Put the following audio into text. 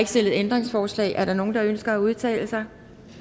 stillet ændringsforslag er der nogen der ønsker at udtale sig